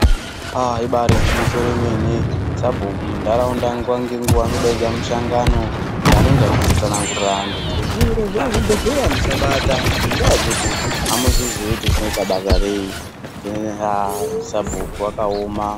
Aah! ribaari gwinyiso remene sabhuku munharaunda nguwa nenguwa anodaidza mushongano yaanenge achitsangurire vanhu kuti "zviro zvekuzvibhehlra musabata ngendaa yekuti amuzvizi kuti zvinoita basa rei' ini aah! sabhuku wakaoma.